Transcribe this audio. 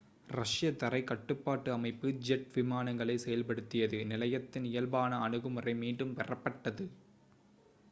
ரஷ்ய தரைக் கட்டுப்பாட்டு அமைப்பு ஜெட் விமானங்களைச் செயல்படுத்தியது நிலையத்தின் இயல்பான அணுகுமுறை மீண்டும் பெறப்பட்டது